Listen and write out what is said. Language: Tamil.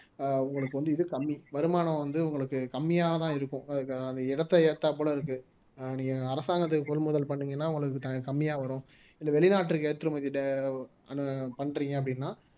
ஆஹ் உங்களுக்கு வந்து இது கம்மி வருமானம் வந்து உங்களுக்கு கம்மியா தான் இருக்கும் அதுக்கான அந்த இடத்தை ஏத்தாப்புல இருக்கு ஆஹ் நீங்க அரசாங்கத்துக்கு கொள்முதல் பண்ணீங்கன்னா உங்களுக்குதா கம்மியா வரும் இந்த வெளிநாட்டிற்கு ஏற்றுமதி பண்றீங்க அப்படின்னா